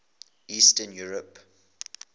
eastern europe